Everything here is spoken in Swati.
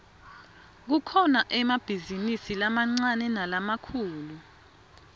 kukhona emabhizinidi lamaniane nalamakhulu